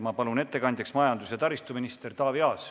Ma palun ettekandjaks majandus- ja taristuminister Taavi Aasa.